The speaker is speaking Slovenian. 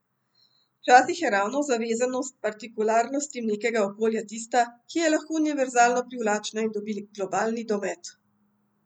Včasih je ravno zavezanost partikularnostim nekega okolja tista, ki je lahko univerzalno privlačna in dobi globalni domet.